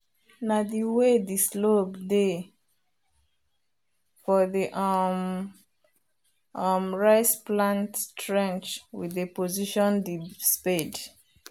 na the way the slope dey for the um um rice plant trench we dey position the spade